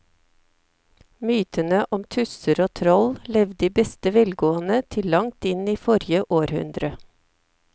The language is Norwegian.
Mytene om tusser og troll levde i beste velgående til langt inn i forrige århundre.